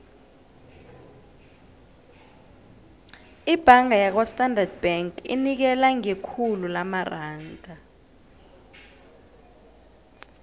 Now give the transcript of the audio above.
ibhanga yakwastandard bank inikela ngekhulu lamaranda